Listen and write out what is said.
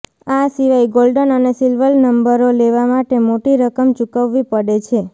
આ સિવાય ગોલ્ડન અને સિલ્વર નંબરો લેવા માટે મોટી રકમ ચૂકવવી પડે છે